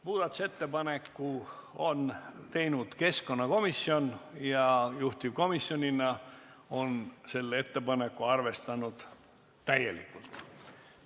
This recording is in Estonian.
Muudatusettepaneku on teinud keskkonnakomisjon ja juhtivkomisjonina on ta seda ettepanekut täielikult arvestanud.